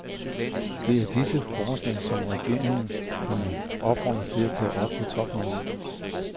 Det er disse forslag, som regeringerne opfordres til at tage op på topmødet.